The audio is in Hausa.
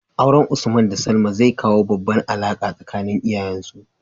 Auren usman da salma zai kawo babbar alaka tsakanin iyayen su